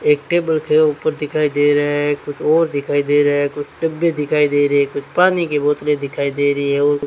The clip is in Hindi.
एक टेबल के ऊपर दिखाई दे रहा है कुछ और दिखाई दे रहा है कुछ डब्बे दिखाई दे रहे कुछ पानी की बोतलें दिखाई दे रही है और --